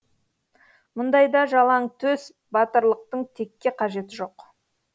мұндайда жалаңтөс батырлықтың текке қажеті жоқ